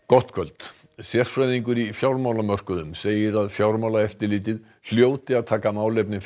gott kvöld sérfræðingur í fjármálamörkuðum segir að Fjármálaeftirlitið hljóti að taka málefni